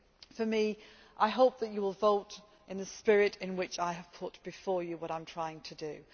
out. For me, I hope that you will vote in the spirit in which I have put before you what I am trying